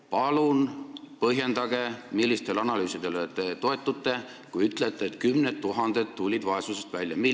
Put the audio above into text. Palun põhjendage, millistele analüüsidele te toetute, kui ütlete, et kümned tuhanded tulid vaesusest välja!